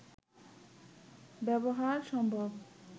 ব্যবহার সম্ভব